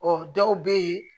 Ɔ dɔw bɛ yen